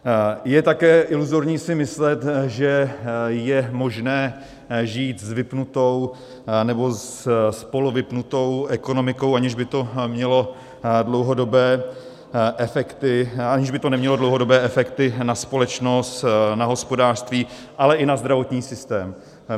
Je také iluzorní si myslet, že je možné žít s vypnutou nebo s polovypnutou ekonomikou, aniž by to nemělo dlouhodobé efekty na společnost, na hospodářství, ale i na zdravotní systém.